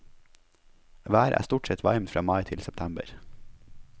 Været er stort sett varmt fra mai til september.